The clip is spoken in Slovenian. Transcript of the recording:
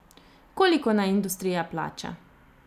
Koliko naj industrija plača?